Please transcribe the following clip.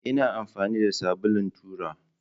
Ina amfani da sabulun tura